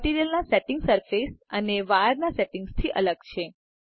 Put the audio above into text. મટીરીઅલના સેટિંગ્સ સરફેસ અને વાયરના સેટિંગ્સથી અલગ છે